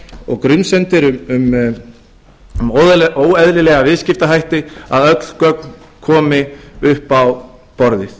og grunsemdir um óeðlilega viðskiptahætti að öll gögn komi upp á borðið